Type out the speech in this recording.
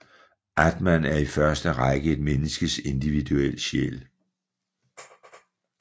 Atman er i første række et menneskes individuelle sjæl